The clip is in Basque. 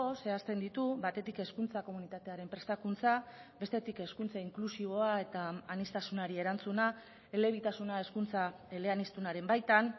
zehazten ditu batetik hezkuntza komunitatearen prestakuntza bestetik hezkuntza inklusiboa eta aniztasunari erantzuna elebitasuna hezkuntza eleaniztunaren baitan